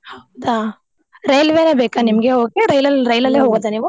ಹೌದಾ? ರೈಲ್ವೆನೆ ಬೇಕಾ ನಿಮ್ಗೆ ಹೋಗೋಕೆ ರೈಲಲ್ಲಿ ಹೋಗೋದಾ ನೀವು?